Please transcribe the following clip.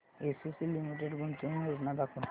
ACC limited गुंतवणूक योजना दाखव